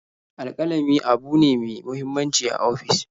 Alƙalami abune ne me muhimmanci a ofis.